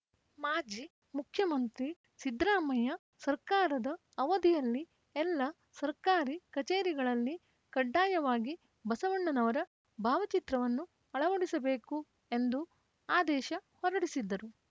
ಮಾಜಿ ಮುಖ್ಯಮಂತ್ರಿ ಸಿದ್ದರಾಮಯ್ಯ ಸರ್ಕಾರದ ಅವಧಿಯಲ್ಲಿ ಎಲ್ಲ ಸರ್ಕಾರಿ ಕಚೇರಿಗಳಲ್ಲಿ ಕಡ್ಡಾಯವಾಗಿ ಬಸವಣ್ಣನವರ ಭಾವಚಿತ್ರವನ್ನು ಅಳವಡಿಸಬೇಕು ಎಂದು ಆದೇಶ ಹೊರಡಿಸಿದ್ದರು